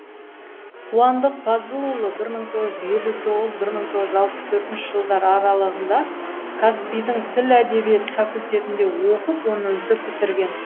қуандық пазылұлы бір мың тоғыз жүз елу тоғыз бір мың тоғыз жүз алпыс төртінші жылдар аралығында қазпи дің тіл әдебиет факультетінде оқып оны үздік бітірген